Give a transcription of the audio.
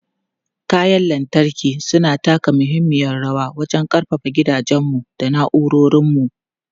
Kayan lantarki suna taka muhimmiyar rawa wajen ƙarfafa gidajenmu da na'urorinmu.